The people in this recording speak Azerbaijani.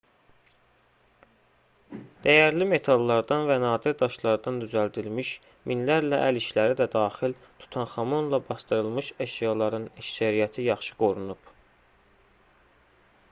dəyərli metallardan və nadir daşlardan düzəldilmiş minlərlə əl işləri də daxil tutanxamonla basdırılmış əşyaların əksəriyyəti yaxşı qorunub